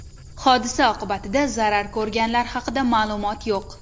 Hodisa oqibatida zarar ko‘rganlar haqida ma’lumot yo‘q.